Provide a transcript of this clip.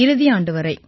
இறுதியாண்டு வரை